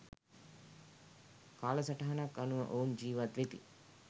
කාලසටහනක් අනුව ඔවුන් ජීවත් වෙති